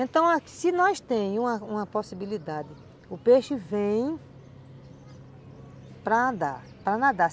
Então, se nós temos uma possibilidade, o peixe vem para andar, para nadar.